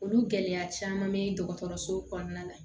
Olu gɛlɛya caman bɛ dɔgɔtɔrɔso kɔnɔna la